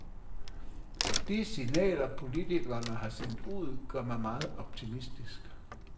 De signaler politikerne har sendt ud, gør mig meget optimistisk.